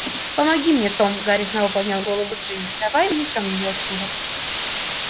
помоги мне том гарри снова поднял голову джинни давай унесём её отсюда